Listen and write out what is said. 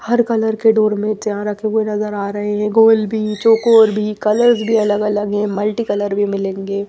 हर colour के doormats यहां रखे हुए नजर आ रहे हैं गोल भी चोकोर भी कलर्स भी अलग-अलग हैं मल्टीकलर भी मिलेंगे ।